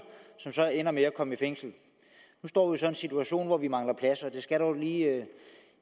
som så ender med at komme i fængsel nu står vi så i en situation hvor vi mangler pladser og det skal jo lige